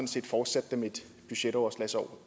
set fortsatte dem et budgetoverslagsår